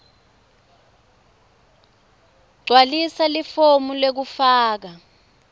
gcwalisa lifomu lekufaka